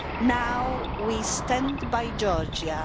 Now we stand by Georgia.